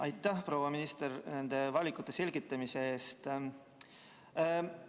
Aitäh, proua minister, nende valikute selgitamise eest!